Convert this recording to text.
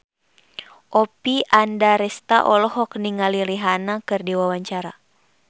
Oppie Andaresta olohok ningali Rihanna keur diwawancara